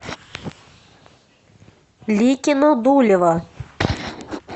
ликино дулево